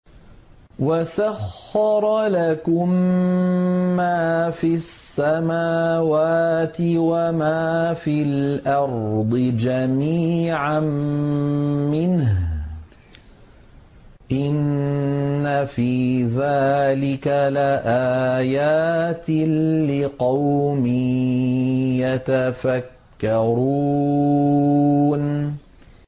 وَسَخَّرَ لَكُم مَّا فِي السَّمَاوَاتِ وَمَا فِي الْأَرْضِ جَمِيعًا مِّنْهُ ۚ إِنَّ فِي ذَٰلِكَ لَآيَاتٍ لِّقَوْمٍ يَتَفَكَّرُونَ